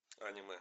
аниме